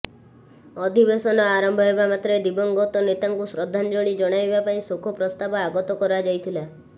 ଅଧିବେଶନ ଆରମ୍ଭ ହେବା ମାତ୍ରେ ଦିବଂଗତ ନେତାଙ୍କୁ ଶ୍ରଦ୍ଧାଞ୍ଜଳି ଜଣାଇବା ପାଇଁ ଶୋକ ପ୍ରସ୍ତାବ ଆଗତ କରାଯାଇଥିଲା